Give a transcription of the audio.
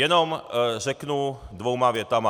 Jenom řeknu dvěma větami.